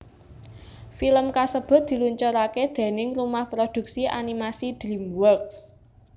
Film kasebut diluncuraké déning Rumah Produksi Animasi Dreamworks